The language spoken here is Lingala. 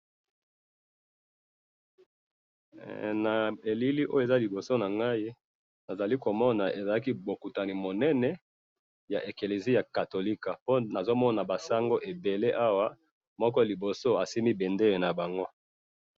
Na moni ba sangu ya église catholique, baza na bukutani munene.